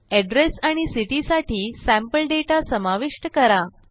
address आणि city साठी sample data समाविष्ट करा